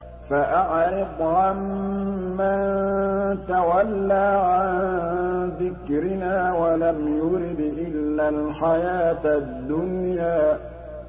فَأَعْرِضْ عَن مَّن تَوَلَّىٰ عَن ذِكْرِنَا وَلَمْ يُرِدْ إِلَّا الْحَيَاةَ الدُّنْيَا